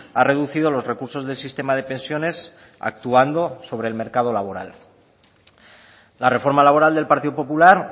ha reducido los recursos del sistema de pensiones actuando sobre el mercado laboral la reforma laboral del partido popular